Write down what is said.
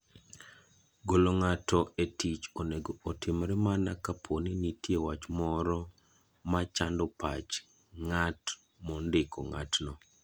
Golo ng'ato e tich onego otimre mana kapo ni nitie wach moro machando pach ng'at mondiko ng'atno.